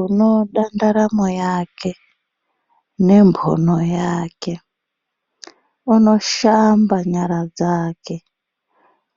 Unoda ndaramo yake ne mbono yake unoshamba nyara dzake